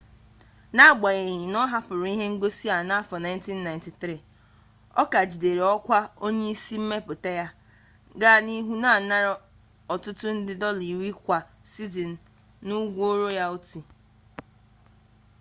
n'agbanyeghi na ọ hapụrụ ihe ngosi a n'afọ 1993 ọ ka jidere ọkwa onye isi mmepụta ya gaa n'ihu na-anara ọtụtụ nde dọla iri kwa sizin n'ụgwọ royalti